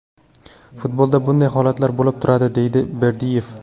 Futbolda bunday holatlar bo‘lib turadi”, deydi Berdiyev.